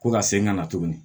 Ko ka segin ka na tuguni